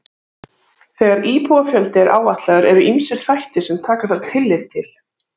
Þegar íbúafjöldi er áætlaður eru ýmsir þættir sem taka þarf tillit til.